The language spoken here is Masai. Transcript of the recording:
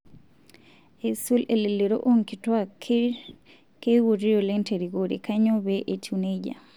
Eisul elelero onkituak ,keikuti oleng terikore, kanyio pee etiu nejia?